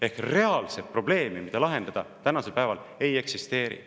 Ehk siis reaalset probleemi, mida lahendada, tänasel päeval ei eksisteeri.